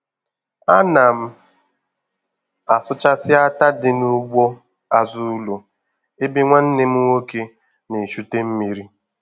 A na m asụchasị átá dị n'ugbo azụ ụlọ ebe nwanne m nwoke na-echute mmiri.